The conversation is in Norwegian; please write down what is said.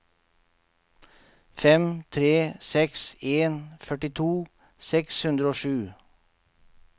fem tre seks en førtito seks hundre og sju